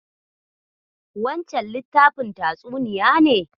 Wancen littafin tatsuniya ne?